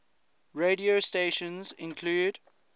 radio stations include